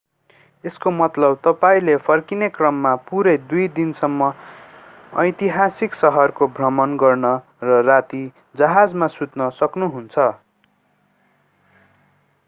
यसको मतलब तपाईंले फर्किने क्रममा पूरै दुई दिनसम्म ऐतिहासिक सहरको भ्रमण गर्न र राति जहाजमा सुत्न सक्नुहुन्छ